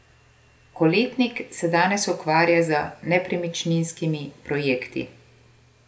Koletnik se danes ukvarja z nepremičninskimi projekti.